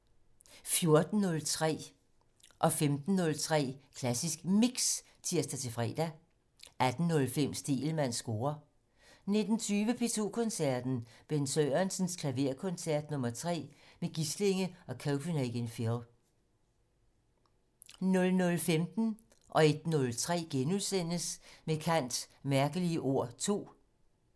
12:15: Med kant - Mærkelige ord 2 13:03: Med kant - Mærkelige ord 2 14:03: Klassisk Mix (tir-fre) 15:03: Klassisk Mix (tir-fre) 18:05: Stegelmanns score 19:20: P2 Koncerten - Bent Sørensens Klaverkoncert nr. 3 med Gislinge og Copenhagen Phil 00:15: Med kant - Mærkelige ord 2 * 01:03: Med kant - Mærkelige ord 2 *